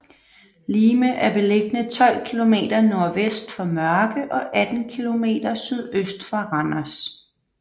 Lime er beliggende 12 kilometer nordvest for Mørke og 18 kilometer sydøst for Randers